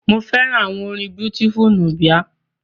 Mo fẹ́ràn àwọn orin Beautiful Nubia.